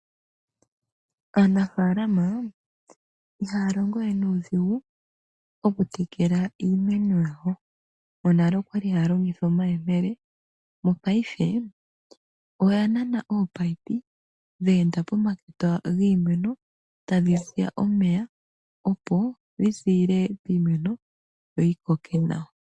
Aanafaalama ihaa longo we nuudhigu oku tekela iimeno yawo. Monale oya li haa longitha omayemele ihe mopayife ohaa longitha ominino ndhoka hadhi kala tadhi ziya omeya dhe endithwa pomakota giimeno opo yi koke nawa.